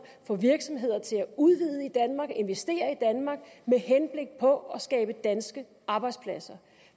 få virksomheder til at udvide og investere i danmark med henblik på at skabe danske arbejdspladser